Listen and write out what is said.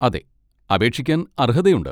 അതെ, അപേക്ഷിക്കാൻ അർഹതയുണ്ട്.